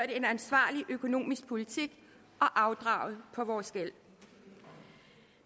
en ansvarlig økonomisk politik og afdraget på vores gæld